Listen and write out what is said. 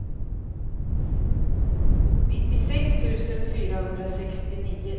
nittiosex tusen fyrahundrasextionio